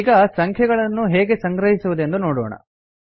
ಈಗ ಸಂಖ್ಯೆಯನ್ನು ಹೇಗೆ ಸಂಗ್ರಹಿಸಿವುದೆಂದು ನೋಡೋಣ